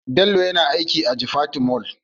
Bello yana aiki a jifatu Mall